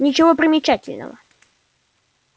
ничего примечательного